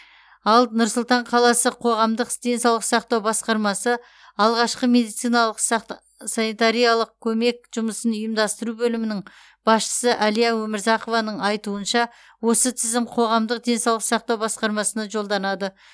ал нұр сұлтан қаласы қоғамдық денсаулық сақтау басқармасы алғашқы медициналық сақта санитариялық көмек жұмысын ұйымдастыру бөлімінің басшысы әлия өмірзақованың айтуынша осы тізім қоғамдық денсаулық сақтау басқармасына жолданады